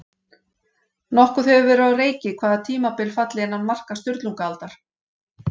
Nokkuð hefur verið á reiki hvaða tímabil falli innan marka Sturlungaaldar.